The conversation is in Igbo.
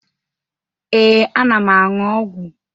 Ee, ana m aṅụ ọgwụ.